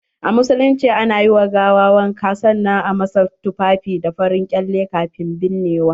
A musulunci, a na yi wa gawa wanka sanan a masa tufafi da farin ƙyale kafin binnewa.